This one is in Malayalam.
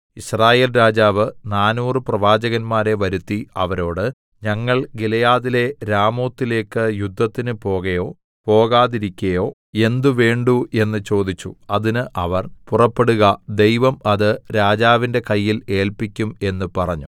യിസ്രായേൽ രാജാവ് നാനൂറ് പ്രവാചകന്മാരെ വരുത്തി അവരോട് ഞങ്ങൾ ഗിലെയാദിലെ രാമോത്തിലേക്ക് യുദ്ധത്തിന് പോകയോ പോകാതിരിക്കയോ എന്ത് വേണ്ടു എന്ന് ചോദിച്ചു അതിന് അവർ പുറപ്പെടുക ദൈവം അത് രാജാവിന്റെ കയ്യിൽ ഏല്പിക്കും എന്ന് പറഞ്ഞു